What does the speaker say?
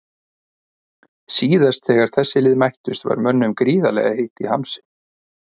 Síðast þegar þessi lið mættust var mönnum gríðarlega heitt í hamsi.